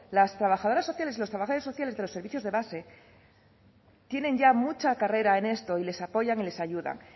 las trabajadoras sociales y los trabajadores sociales de los servicios de base tienen ya mucha carrera en esto y les apoyan y les ayudan